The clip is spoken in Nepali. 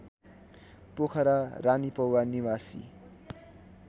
पोखरा रानीपौवा निवासी